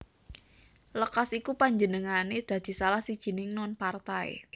Lekas iku panjenengané dadi salah sijining non partai